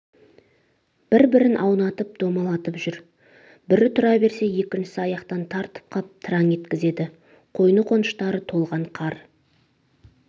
бірін бір аунатып-домалатып жүр бір тұра берсе екіншісі аяқтан тартып қап тыраң еткізеді қойны-қоныштары толған қар